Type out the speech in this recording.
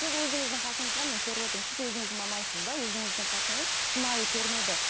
сіз өзіңіздің қасыңызға мен көріп отырмын сіз өзіңіз мамансыз да өзіңіздің қасыңыз шынайы көрінеді